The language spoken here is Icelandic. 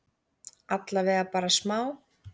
Allavega bara smá?